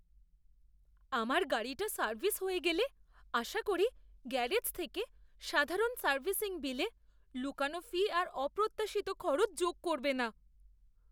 আমার গাড়িটা সার্ভিস হয়ে গেলে আশা করি গ্যারেজ থেকে সাধারণ সার্ভিসিং বিলে লুকানো ফি আর অপ্রত্যাশিত খরচ যোগ করবে না!